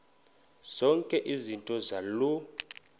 zonke izinto zaloo